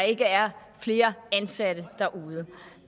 ikke er flere ansatte derude